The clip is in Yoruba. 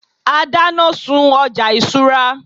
a dana sun ọja isura